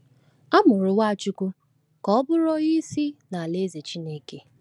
A mụrụ Nwachukwu ka ọ bụrụ Onye Isi n’Alaeze Chineke.